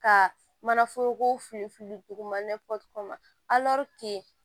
Ka mana foroko filifili duguma